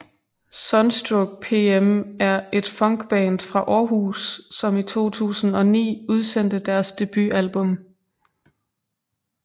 Sunstroke PM er et funkband fra Århus som i 2009 udsendte deres debutalbum